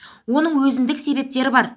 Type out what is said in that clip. оның өзіндік себептері бар